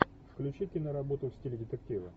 включи киноработу в стиле детектива